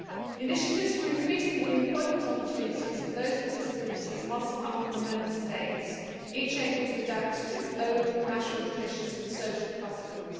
Initiatives for increasing the employment opportunities for those with disabilities must come from Member States, each able to adapt to its own national traditions and social customs.